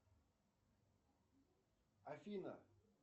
афина